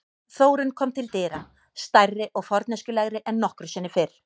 Þórunn kom til dyra, stærri og forneskjulegri en nokkru sinni fyrr.